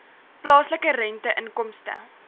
plaaslike rente inkomste